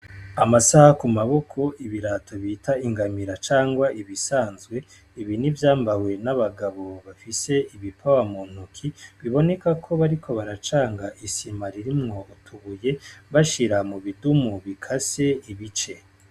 amasaha kumaboko, ibirato bita ingamira cangwa ibisanzwe, ibi nivyambawe n'abagabo bafise ibipawa muntoke. Biboneka ko bariko baracanga isima ririmwo utubuye bashira mubidumu bikase ibice